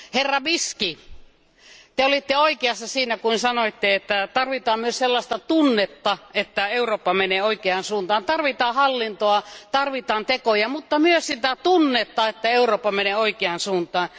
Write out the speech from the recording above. Kollega Bisky, Te olitte oikeassa siinä, kun sanoitte, että tarvitaan myös sellaista tunnetta, että Eurooppa menee oikeaan suuntaan, tarvitaan hallintoa, tarvitaan tekoja, mutta myös sitä tunnetta, että Eurooppa menee oikeaan suuntaan.